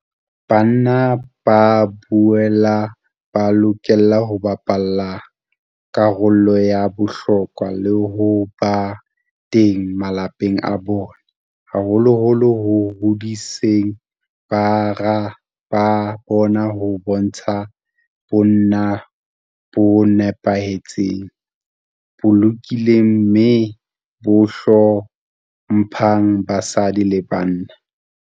Banna ba boela ba lokela ho bapala karolo ya bohlokwa le ho ba teng malapeng a bona, haholoholo ho hodiseng bara ba bona ho bontsha bonna bo nepahetseng, bo lokileng mme bo hlo mphang basadi le bana.